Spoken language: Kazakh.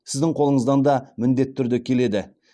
сіздің қолыңыздан да міндетті түрде келеді